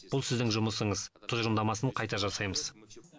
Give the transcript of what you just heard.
бұл сіздің жұмысыңыз тұжырымдамасын қайта жасаймыз